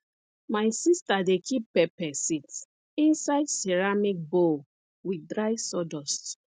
my sister dey keep pepper seeds inside ceramic bowl with dry sawdust